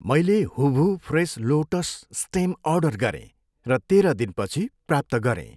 मैले हुभु fresh lotus stem order गरेँ र तेह्र दिनपछि प्राप्त गरेँ।